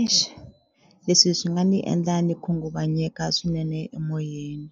Eish leswi swi nga ni endla ni khunguvanyeka swinene emoyeni